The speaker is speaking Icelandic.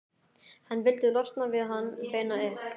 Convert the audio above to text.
Hann vildi losna við hann, beina upp